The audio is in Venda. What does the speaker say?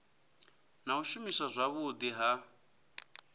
na u shumiswa zwavhudi ha